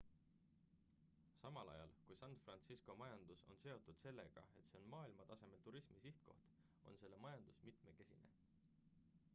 samal ajal kui san fransisco majandus on seotud sellega et see on maailmatasemel turismisihtkoht on selle majandus mitmekesine